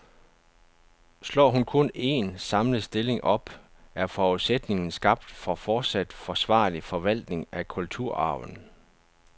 Slår hun kun en, samlet stilling op, er forudsætningen skabt for fortsat forsvarlig forvaltning af kulturarven.